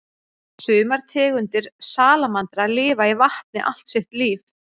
Sumar tegundir salamandra lifa í vatni allt sitt líf.